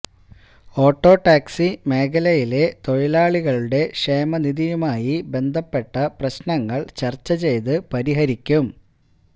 auto taxi മേഖലയിലെ തൊഴിലാളികളുടെ ക്ഷേമനിധിയുമായി ബന്ധപ്പെട്ട പ്രശ്നങ്ങൾ ചർച്ച ചെയ്ത് പരിഹരിക്കും